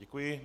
Děkuji.